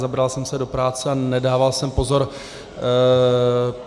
Zabral jsem se do práce a nedával jsem pozor.